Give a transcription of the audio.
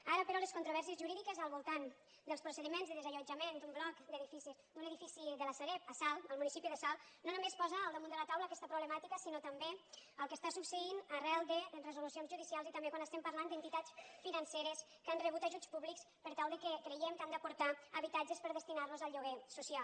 ara però les controvèrsies jurídiques al voltant dels procediments de desallotjament d’un bloc d’edificis d’un edifici de la sareb a salt al municipi de salt no només posa al damunt de la taula aquesta problemàtica sinó també el que està succeint arran de resolucions judicials i també quan estem parlant d’entitats financeres que han rebut ajuts públics per tal que creguem que han d’aportar habitatges per destinar los al lloguer social